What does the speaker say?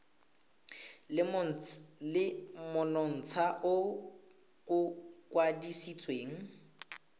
le monontsha o o kwadisitsweng